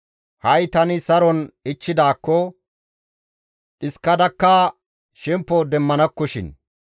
Ha7i tani saron ichchidaakko, dhiskadakka shemppo demmanakkoshin.